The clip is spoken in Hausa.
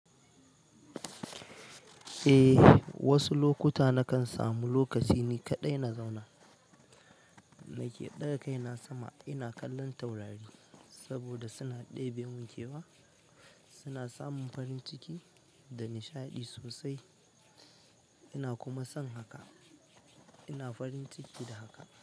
Eh, wasu lokuta nakan samu lokaci ni kaɗai na zauna nake ɗaga kaina sama ina kallon taurari saboda suna ɗebe min ke wa, suna samin farin ciki da nishaɗi sosai. Ina kuma son haka, ina farin ciki da haka.